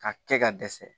Ka kɛ ka dɛsɛ